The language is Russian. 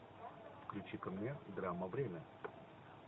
включи ка мне драма время